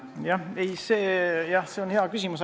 Jah, see on hea küsimus.